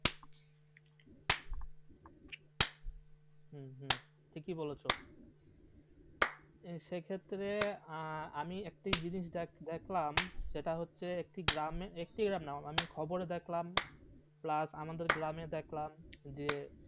ঠিকই বলেছ সেক্ষেত্রে আমি একটা জিনিস দেখলাম সেটা হচ্ছে একটি গ্রামে একটি গ্রামে নয় আমি খবরে দেখলাম প্লাস আমাদের গ্রামে দেখলাম যে